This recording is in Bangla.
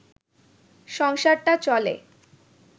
সংসারটা চলে